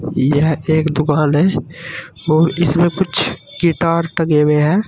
यह एक दुकान है और इसमें कुछ गिटार टंगे हुए हैं।